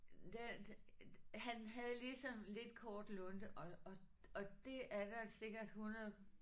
Der han havde ligesom lidt kort lunte og og og det er der sikkert 100